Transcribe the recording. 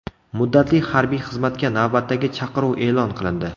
Muddatli harbiy xizmatga navbatdagi chaqiruv e’lon qilindi.